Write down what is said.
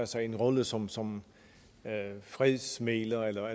sig en rolle som som fredsmægler